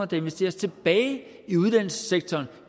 der investeres tilbage i uddannelsessektoren